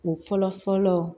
O fɔlɔ fɔlɔ